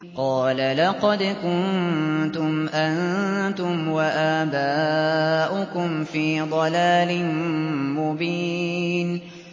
قَالَ لَقَدْ كُنتُمْ أَنتُمْ وَآبَاؤُكُمْ فِي ضَلَالٍ مُّبِينٍ